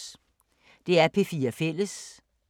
DR P4 Fælles